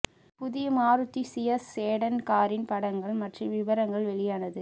புதிய Maruti Ciaz sedan காரின் படங்கள் மற்றும் விபரங்கள் வெளியானது